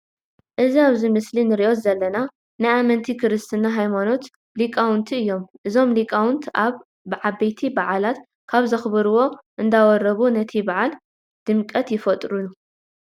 እዚ ኣብዚ ምስሊ እንርእዮ ዘለና ናይ ኣመንቲ ክርስትና ሃይማኖት ሊቃውንቲ እዩም። እዞም ሊቃውንቲ ኣብ ዓበይት በዓላት ካብ ዘክብርዎም እንዳወረቡ ነቲ በዓል ድምቀት ይፈጥርሉ።